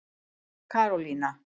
Karólína